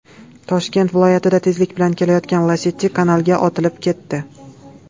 Toshkent viloyatida tezlik bilan kelayotgan Lacetti kanalga otilib ketdi .